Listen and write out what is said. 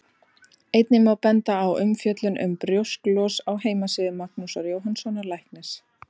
Einnig má benda á umfjöllun um brjósklos á heimasíðu Magnúsar Jóhannssonar læknis.